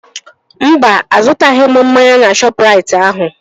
Mba, azụtaghị m mmanya na supamakeetị ahụ